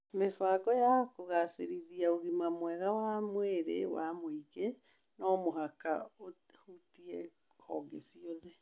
Mĩbango ya kũgaacĩrithia ũgima mwega wa mwĩrĩ wa mũingĩ no mũhaka ĩhutie honge ciothe.